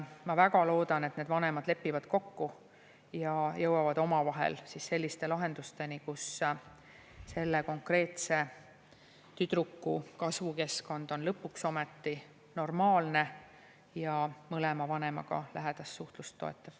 Ma väga loodan, et vanemad lepivad kokku ja jõuavad omavahel selliste lahendusteni, kus selle konkreetse tüdruku kasvukeskkond on lõpuks ometi normaalne ja mõlema vanemaga lähedast suhtlust toetav.